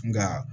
Nka